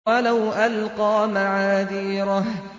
وَلَوْ أَلْقَىٰ مَعَاذِيرَهُ